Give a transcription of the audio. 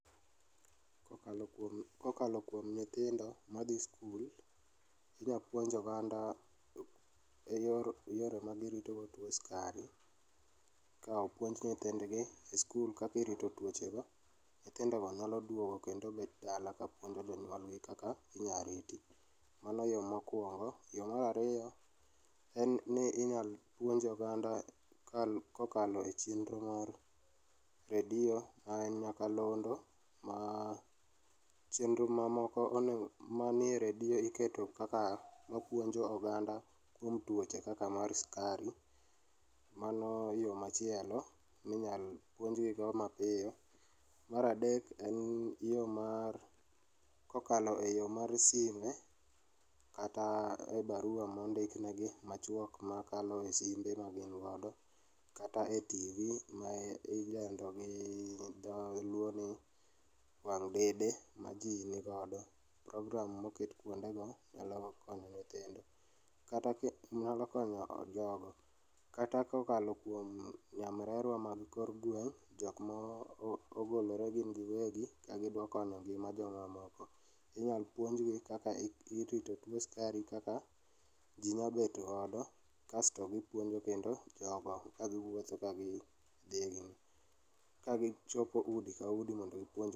Kokalo kuom, kokalo nyithindo madhi skul, idwa puonj oganda e yor, yore magirito go tuo sukari, ka opuonj nyithindgi e skul kaka irito tuoche go, nyithindo go nyalo duogo kendo bed dala ka puonjo jonyuol gi kaka inyal riti. Mano yoo mokuongo, yoo mar ariyo en ni inyal puonj oganda kokalo e chenro mar redio ma en nyakalondo ma chenro mamoko onego, ma nie redio iketo kaka ma puonjo oganda kuom tuoche kaka mar sukari, mano yoo machielo minyal puonj gi go mapiyo. Mar adek en yoo mar kokalo e yoo mar sime kata e barua mondik negi machuok ma kalo e simbe ma gin godo kata e TV ma ilendo gi dholuo ni wang' dede ma jii nigodo, program moket kuonde go nyalo konyo nyithindo, nyalo konyo jogo. Kata kokalo kuom nyamrerwa mag kor gweng' jokma ogolore gin giwegi ka gidwa konyo ngima jomoko, inyal puonj gi kaka irito tuo sukari kaka jii nya bet godo kasto gipuonjo kendo jogo ka giwuotho kagi dhi e,kagi chopo di ka udi mondo gipuonj